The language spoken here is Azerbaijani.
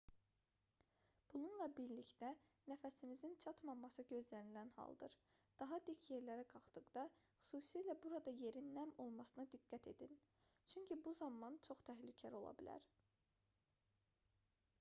bununla birlikdə nəfəsinizin çatmaması gözlənilən haldır daha dik yerlərə qalxdıqda xüsusilə burada yerin nəm olmasına diqqət edin çünki bu zaman çox təhlükəli ola bilər